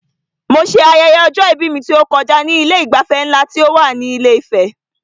Mo ṣe ayẹyẹ ọjọ-ìbí mi tó kọjá ní Ilé ìgbafẹ́ nlá ti Ife